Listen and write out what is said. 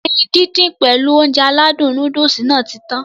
Ẹyin dídín pèlu Ounjẹ aládùn nóódùsì Nàá ti tan